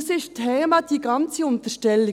Das ganze Thema ist eine Unterstellung.